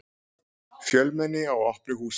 Fjölmenni á opnu húsi